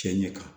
Cɛn ɲɛ kan